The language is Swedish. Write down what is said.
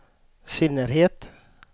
synnerhet